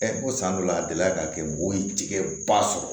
ko san dɔ la a delila ka kɛ mɔgɔw ye tigɛ ba sɔrɔ